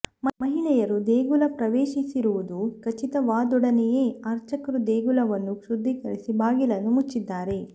ಮಹಿಳೆಯರು ದೇಗುಲ ಪ್ರವೇಶಿಸಿರುವುದು ಖಚಿತವಾದೊಡನೆಯೇ ಅರ್ಚಕರು ದೇಗುಲವನ್ನು ಶುದ್ಧೀಕರಿಸಿ ಬಾಗಿಲನ್ನು ಮುಚ್ಚಿದ್ದಾರೆ